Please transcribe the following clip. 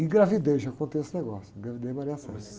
Engravidei já contei esse negócio, engravidei a .ão, mas...